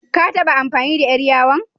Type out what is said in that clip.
Ka taɓa amfani da ƴar yawon?